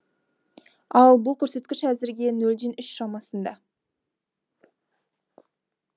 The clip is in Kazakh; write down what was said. ал бұл көрсеткіш әзірге нөлден үш шамасында